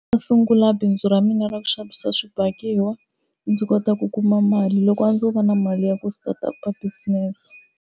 A sungula bindzu ra mina ra ku xavisiwa swibakiwa ndzi kota ku kuma mali, loko a ndzo va na mali ya ku start-up business.